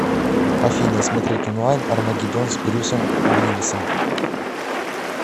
афина смотреть онлайн армагеддон с брюсом уиллисом